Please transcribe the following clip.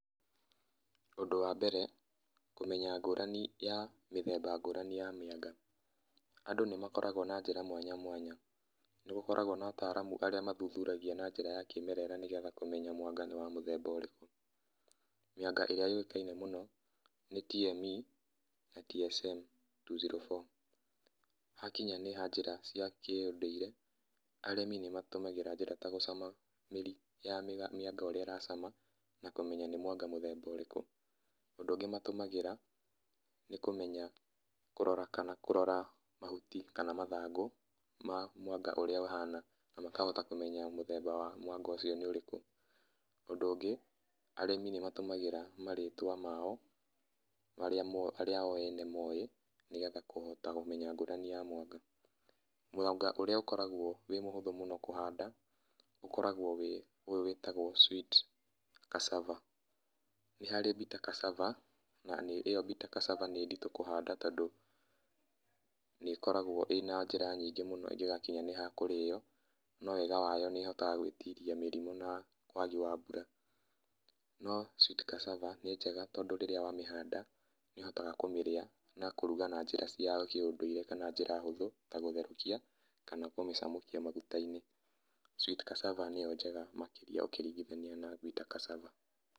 Ũndũ wa mbere kũmenya ngũrani ya mĩthemba ngũrani ya mĩanga, andũ nĩ makoragwo na njĩra mwanya mwanya nĩgũkoragwo na ataramũ aria mathũthũragia na njĩra ya kĩmerera nĩgetha kũmenya mwanga nĩ wa mũthemba ũrĩkũ mĩanga ĩrĩa yũikaĩne mũno nĩ DME na DSM 204 hakĩnya nĩ ha njĩra cia kĩũndũire arĩmi nĩma tũmagĩra njĩra ta gũcama mĩri ya mĩanga ũrĩa ĩracama makamenya nĩmwanga mũthemba ũrĩkũ ũndũ ũngĩ matũmagĩra nĩ kũrora kana mahũtĩ kana mathangũ mwa mwanga ũria ũhana makahota kũmenya mũthemba wa mwanga ũcio nĩ ũrĩkũ ũndũ ũngĩ arĩmi nĩma tũmagĩra marĩtwa mao maria o ene moĩ nĩgetha kũhota kũmenya ngũrani ya mwanga. Mwanga ũria ũkoragwo wĩ mũhũthũ kũhanda ũkoragwo ũyũ wĩtagwo sweet cassava nĩharĩ bitter cassava na ĩyo bĩtter cassava nĩ ndĩtũ kũhanda tondũ nĩ ĩkoragwo irĩ na njĩra nyingĩ mũno ingĩgakinya nĩ ha kũrio no wega wayo nĩ ihotaga gwĩtĩria na wagi wa mbũra no sweet cassava nĩ njega tondũ rĩrĩa wamĩhanda nĩ ũhotaga kũmĩria na kũmĩrũga na njĩra cia kĩũndũire kana njĩra hũthũ ta gũtherũkia kana kũmĩcamũkia magũta-inĩ sweet cassava nĩyo njega makĩria ũkĩringĩthania na bitter cassava.